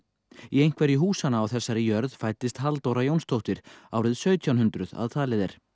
í einhverju húsanna á þessari jörð fæddist Halldóra Jónsdóttir árið sautján hundruð að talið er